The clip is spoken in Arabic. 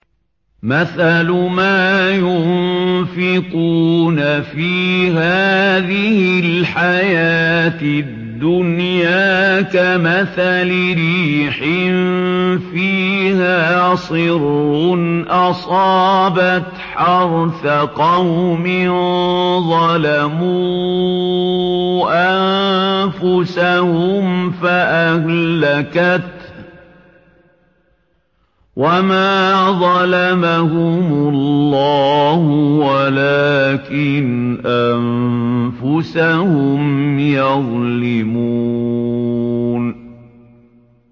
مَثَلُ مَا يُنفِقُونَ فِي هَٰذِهِ الْحَيَاةِ الدُّنْيَا كَمَثَلِ رِيحٍ فِيهَا صِرٌّ أَصَابَتْ حَرْثَ قَوْمٍ ظَلَمُوا أَنفُسَهُمْ فَأَهْلَكَتْهُ ۚ وَمَا ظَلَمَهُمُ اللَّهُ وَلَٰكِنْ أَنفُسَهُمْ يَظْلِمُونَ